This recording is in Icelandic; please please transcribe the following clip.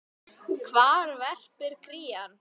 Hvar verpir krían?